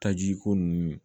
Tajiko ninnu